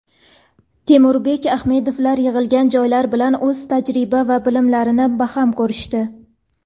Temurbek Adhamovlar yig‘ilgan yoshlar bilan o‘z tajriba va bilimlarini baham ko‘rishdi.